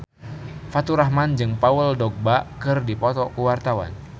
Faturrahman jeung Paul Dogba keur dipoto ku wartawan